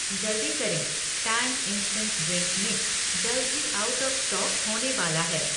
जल्दी करें, Tang instant drink mix जल्द ही आउट ऑफ़ स्टॉक होने वाला है।